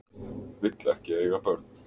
Vill ekki eiga börn